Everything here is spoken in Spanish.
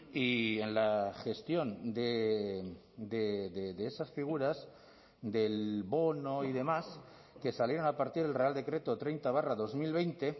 y en la gestión de esas figuras del bono y demás que salieron a partir del real decreto treinta barra dos mil veinte